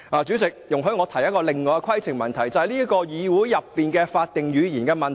主席，容許我提出另一項規程問題，是關於這個議會的法定語言。